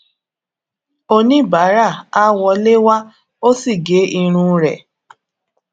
oníbàárà a wọlé wá o sì gé irun rẹ